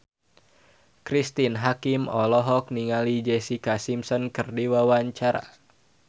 Cristine Hakim olohok ningali Jessica Simpson keur diwawancara